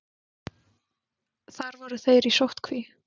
Þar voru þeir í sóttkví.